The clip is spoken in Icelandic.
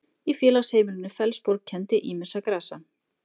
í félagsheimilinu fellsborg kenndi ýmissa grasa